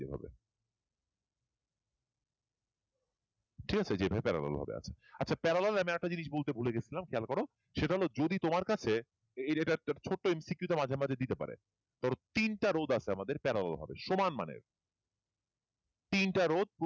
ঠিক আছে এই যে parallel ভাবে আছে আচ্ছা parallel আমি আর একটা জিনিস বলতে ভুলে গেছিলাম খেয়াল করো সেটা হলো যদি তোমার কাছে ছোট্ট MCQ ওটা মাঝে মাঝে দিতে পারে ধরো তিনটা রোধ আছে parallel ভাবে সমান মানের তিনটা রোধ